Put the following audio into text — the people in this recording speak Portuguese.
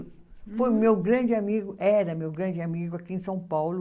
Foi meu grande amigo, era meu grande amigo aqui em São Paulo,